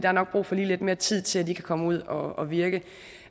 er nok brug for lige lidt mere tid til at de kan komme ud og virke